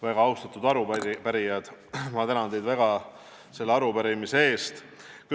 Väga austatud arupärijad, ma tänan teid väga selle arupärimise eest!